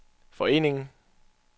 foreningen